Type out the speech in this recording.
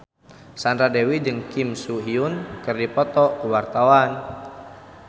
Sandra Dewi jeung Kim So Hyun keur dipoto ku wartawan